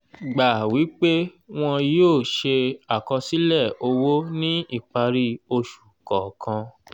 gbà wí pé wọn yóò ṣe àkọsílẹ̀ owó ní ìparí oṣù kọ̀ọ̀kan